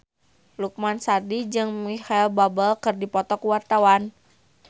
Lukman Sardi jeung Micheal Bubble keur dipoto ku wartawan